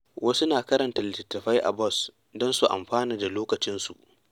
Wasu na karanta littattafai a bas don su amfana da lokacin su.